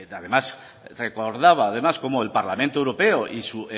además recordaba además cómo el parlamento europeo y su